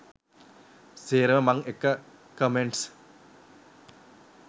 සේරම මං එක කමෙන්ට්ස්.